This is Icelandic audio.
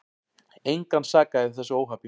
Engan sakaði í þessu óhappi.